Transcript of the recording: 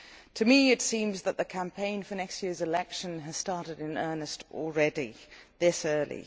To me it seems that the campaign for next year's election has started in earnest already, this early.